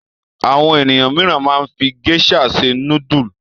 Àwọn ènìyàn mìíràn máa fi géíṣà se núdúlù.